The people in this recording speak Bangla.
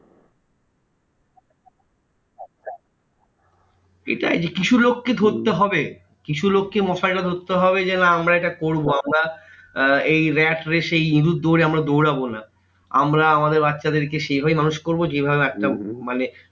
এটাই কিছু লোককে ধরতে হবে। কিছু লোককে মশাল টা ধরতে হবে যে, না আমরা এটা করবো। আমরা আহ এই rat race এ এই ইঁদুর দৌড়ে আমরা দৌড়াবো না। আমরা আমাদের বাচ্চাদের কে সেই ভাবেই মানুষ করবো যেইভাবে একটা মানে